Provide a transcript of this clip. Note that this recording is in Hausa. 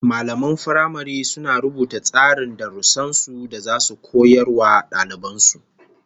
Mallaman firamare suna rubuta tsarin darussan da zasu koya wa daliban su